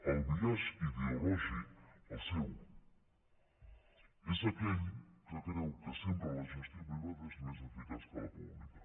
el biaix ideològic el seu és aquell que creu que sempre la gestió privada és més eficaç que la pública